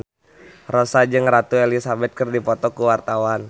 Rossa jeung Ratu Elizabeth keur dipoto ku wartawan